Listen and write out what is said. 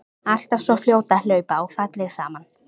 Alltaf svo fljót að hlaupa og falleg saman.